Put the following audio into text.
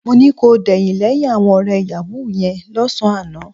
Mo ní kò dẹ̀yìn lẹ́yìn àwọn ọ̀rẹ́ yàwúù yẹn lọ́sàn-án àná